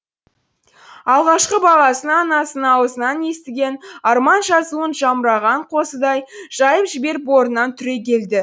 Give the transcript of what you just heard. алғашқы бағасын анасының аузынан естіген арман жазуын жамыраған қозыдай жайып жіберіп орнынан түрегелді